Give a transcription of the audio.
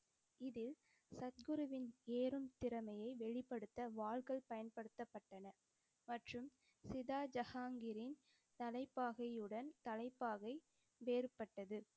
இதில் சத்குருவின் திறமையை வெளிப்படுத்த வாள்கள் பயன்படுத்தப்பட்டன மற்றும் சிதா ஜஹாங்கீரின் தலைப்பாகையுடன் தலைப்பாகை வேறுப்பட்டது.